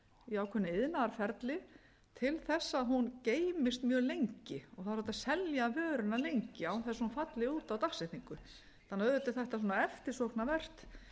í ákveðnu iðnaðarferli til þess að hún geymist mjög lengi það er hægt að selja vöruna lengi án þess að hún falli út á dagsetningu þannig að auðvitað er þetta eftirsóknarvert